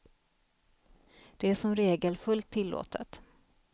Det är som regel fullt tillåtet.